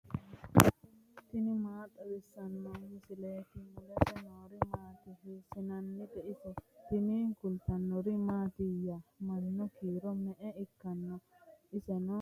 tini maa xawissanno misileeti ? mulese noori maati ? hiissinannite ise ? tini kultannori mattiya? mannu kiiro me'e ikkanno? insa ayiootti? maa udirinno? badheesiinni hige mayi nooya?